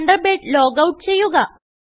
Thunderbird logout ചെയ്യുക